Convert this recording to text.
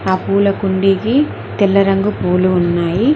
ఆ పూల కుండీకి తెల్ల రంగు పూలు ఉన్నాయి.